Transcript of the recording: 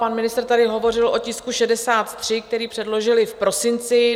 Pan ministr tady hovořil o tisku 63, který předložili v prosinci.